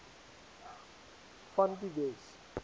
van die wes